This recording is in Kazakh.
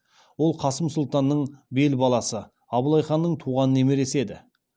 ол қасым сұлтанның бел баласы абылай ханның туған немересі еді